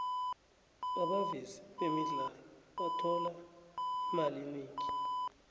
abavezi bemidlalo bathola imali eningi